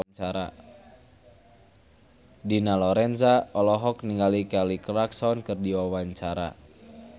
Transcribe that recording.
Dina Lorenza olohok ningali Kelly Clarkson keur diwawancara